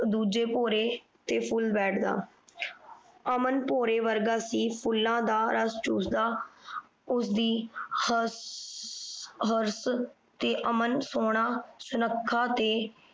ਦੂਜੇ ਭੌਰਾ ਤੇ ਫੁੱਲ ਬੈਠਦਾ। ਅਮਨ ਭੌਰੇ ਵਰਗਾ ਸੀ। ਫੁੱਲਾਂ ਦਾ ਰਸ ਚੂਸਦਾ ਉਸਦੀ ਹਰਸ ਤੇ ਅਮਨ ਸੋਹਣਾ ਸੁੱਖਣਾ ਤੇ